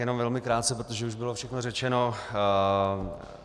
Jenom velmi krátce, protože už bylo všechno řečeno.